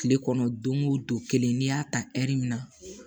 Kile kɔnɔ don go don kelen n'i y'a ta min na